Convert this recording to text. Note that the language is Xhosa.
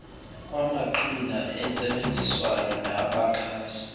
kwamaqhina entsebenziswano nabaxhasi